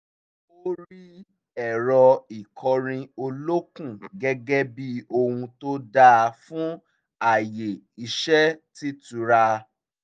ó rí ẹ̀rọ ìkọrin olókun gẹ́gẹ́ bí ohun tó dáa fún àyè iṣẹ́ t'ítura